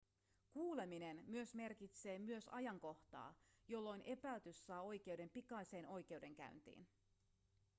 kuuleminen myös merkitsee myös ajankohtaa jolloin epäilty saa oikeuden pikaiseen oikeudenkäyntiin